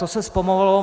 To se zpomalilo.